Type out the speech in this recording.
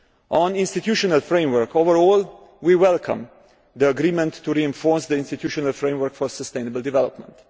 On the institutional framework, overall we welcome the agreement to reinforce the institutional framework for sustainable development.